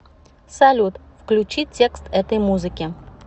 салют включи текст этой музыки